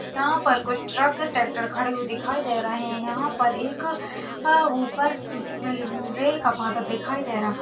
यहाँ पर कुछ ट्रक ट्रॅक्टर खड़े हुए दिखाई दे रहे है यहाँ पर एक आ ऊपर रेल का पाता दिखाई दे रहा--